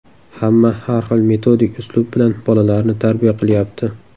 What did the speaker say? Hamma har xil metodik uslub bilan bolalarni tarbiya qilyapti.